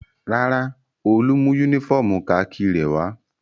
Rárá, Olú mú únífọ́ọ́mù kakí rẹ̀ wá.